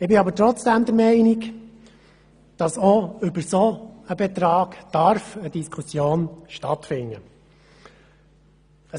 Ich bin aber trotzdem der Meinung, dass auch über so einen Betrag eine Diskussion stattfinden darf.